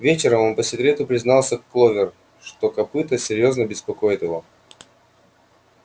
вечером он по секрету признался кловер что копыто серьёзно беспокоит его